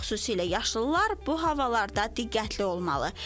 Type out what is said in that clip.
Xüsusilə yaşlılar bu havalarda diqqətli olmalı.